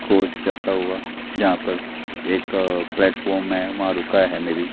Coach जाता हुआ जहां पर एक प्लेटफार्म है वहां पे रुका है मे बी ।